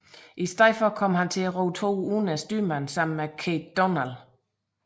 I stedet kom han til at ro toer uden styrmand sammen med Keith Donald